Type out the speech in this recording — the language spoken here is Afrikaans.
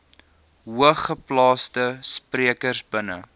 hoogeplaasde sprekers binne